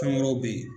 Kan wɛrɛw bɛ ye